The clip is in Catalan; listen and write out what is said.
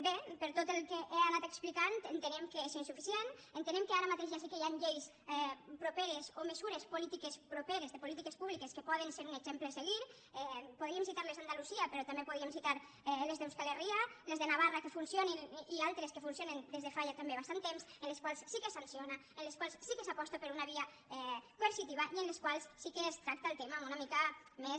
bé per tot el que he anat explicant entenem que és insuficient entenem que ara mateix ja sé que hi ha llei properes o mesures polítiques properes de polítiques públiques que poden ser un exemple a seguir podríem citar les d’andalusia però també podríem citar les d’euskal herria les de navarra que funcionin i altres que funcionen des de fa ja també bastant temps en les quals sí que es sanciona en les quals sí que s’aposta per una via coercitiva i en les quals sí que es tracta el tema amb una mica més